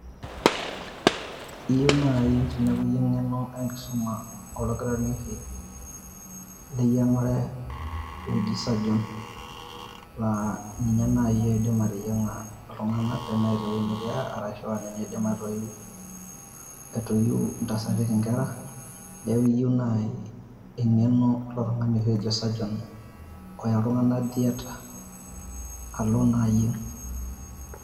Iyieu naaji tene wueji eng`eno e nkisuma oldakitari oshi le yiang`are oji surgeon. Laa ninye naaji oidim ateyiang`a iltung`anak teneeta ewueji nikiya. Ashu ninye oidim aitoyiu, aitoyiu intasati nkera. Neyieu naaji e ng`eno ilo tung`ani oshi ojo surgeon oya iltung`anak theatre alo naa ayieng.